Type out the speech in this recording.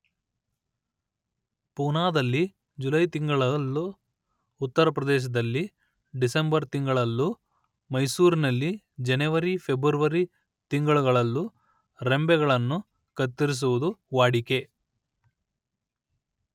ಪೂನಾದಲ್ಲಿ July ತಿಂಗಳಲ್ಲೂ ಉತ್ತರಪ್ರದೇಶದಲ್ಲಿ December ತಿಂಗಳಲ್ಲೂ ಮೈಸೂರಿನಲ್ಲಿ ಜನವರಿ ಫೆಬ್ರವರಿ ತಿಂಗಳುಗಳಲ್ಲೂ ರೆಂಬೆಗಳನ್ನು ಕತ್ತರಿಸುವುದು ವಾಡಿಕೆ